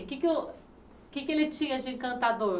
O que é que o o que é que ele tinha de encantador?